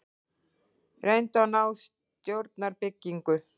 Reyndu að ná stjórnarbyggingu